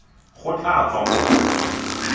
go tla tswa mo go